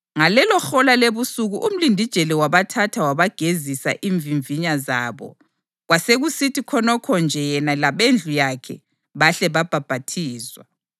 Ngalelohola lebusuku umlindijele wabathatha wabagezisa imvimvinya zabo; kwasekusithi khonokho nje yena labendlu yakhe bahle babhaphathizwa.